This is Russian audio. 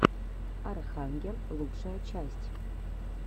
архангел лучшая часть